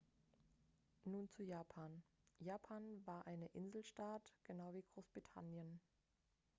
nun zu japan japan war eine inselstaat genau wie großbritannien